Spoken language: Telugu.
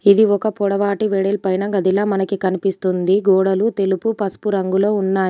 ఇది ఒక పొడవాటి వెడల్పైన గదిలా మనకి కనిపిస్తుంది. గోడలు తెలుపు పసుపు రంగులో ఉన్నాయి.